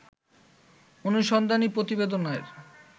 অনুসন্ধানী প্রতিবেদনের